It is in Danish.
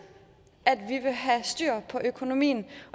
at vi vil have styr på økonomien